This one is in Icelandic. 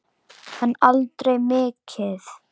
En aldrei mikið.